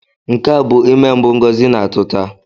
Nke a bu ime mbụ Ngozi na-atụ ta